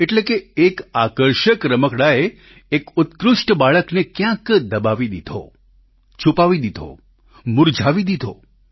એટલે કે એક આકર્ષક રમકડાંએ એક ઉત્કૃષ્ઠ બાળકને ક્યાંક દબાવી દીધો છૂપાવી દીધો મુરઝાવી દીધો